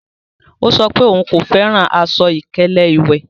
Ọ̀ sọ pé ọún kò fẹ́ran àṣọ-ìkẹlẹ̀ iwẹ́.